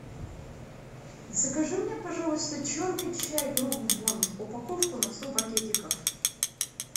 закажи мне пожалуйста черный чай брук бонд упаковку на сто пакетиков